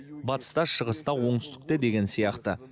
батыс та шығыс та оңтүстік те деген сияқты